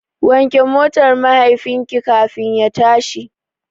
Wanke motar mahaifinka kafin ya tashi.